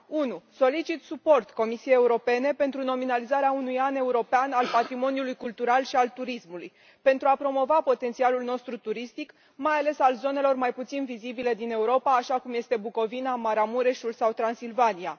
1. solicit suport Comisiei Europene pentru nominalizarea unui an european al patrimoniului cultural și al turismului pentru a promova potențialul nostru turistic, mai ales al zonelor mai puțin vizibile din Europa, așa cum sunt Bucovina, Maramureșul sau Transilvania